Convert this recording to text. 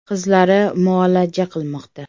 Qizlari muolaja qilmoqda.